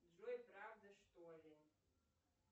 джой правда что ли